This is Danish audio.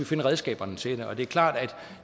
finde redskaberne til det det er klart at